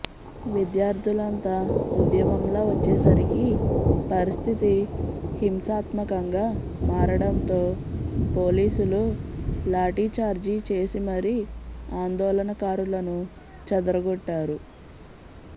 విద్యార్ధులంతా ఉద్యమంలా వచ్చేసరికి పరిస్థితి హింసాత్మకంగా మారడంతో పోలీసులు లాఠీచార్జి చేసి మరీ ఆందోళనకారులను చెదరగొట్టారు